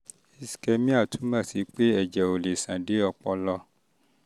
ischemia um túmọ̀ sí pé ẹ̀jẹ̀ ò lè ṣàn dé um ọpọlọ um ọpọlọ